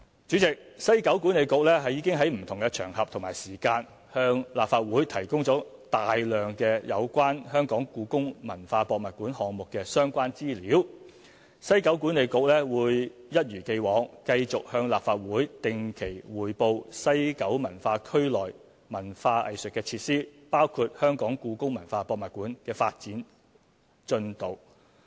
主席，西九管理局已在不同場合和時間，向立法會提供大量有關故宮館項目的相關資料，西九管理局會一如既往，繼續向立法會定期匯報西九文化區內文化藝術設施，包括故宮館的發展進度。